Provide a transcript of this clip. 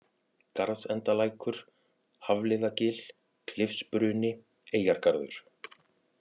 Garðsendalækur, Hafliðagil, Klifsbruni, Eyjargarður